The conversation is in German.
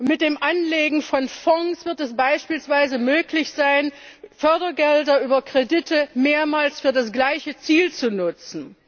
Mit dem Anlegen von Fonds wird es beispielsweise möglich sein, Fördergelder über Kredite mehrmals für das gleiche Ziel zu nutzen.